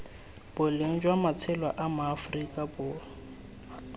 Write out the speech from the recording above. boleng jwa matshelo a maaforika